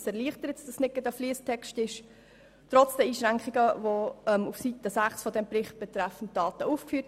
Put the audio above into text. Das erleichtert die Verständlichkeit trotz der auf Seite 6 aufgeführten Einschränkungen betreffend die Daten.